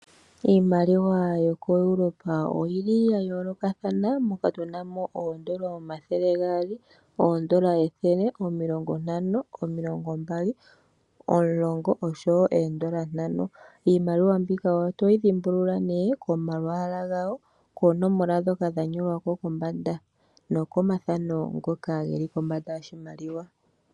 Iimaliwa yoku Europa oyili yayoolokathana moko muna ooEuro omathele gaali, ethele nosho woo iikwawo oyindji. Iimaliwa mbika oto yi dhimbulula komalwaala gawo nosho woo koonomola dhoka dhanyolwa kombanda yoshimaliwa.